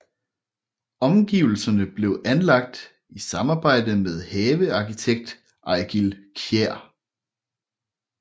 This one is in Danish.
Omgivelserne blev anlagt i samarbejde med havearkitekt Eigil Kiær